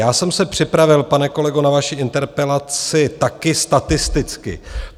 Já jsem se připravil, pane kolego, na vaši interpelaci taky statisticky.